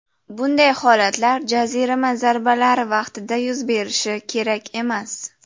Bunday holatlar jarima zarbalari vaqtida yuz berishi kerak emas.